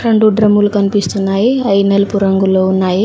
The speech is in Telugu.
రెండు డ్రమ్ములు కనిపిస్తున్నాయి అయి నలుపు రంగులో ఉన్నాయి.